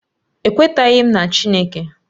Ekwetaghị m na Chineke